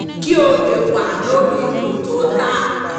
kí ó lè wà lórípò tó dáa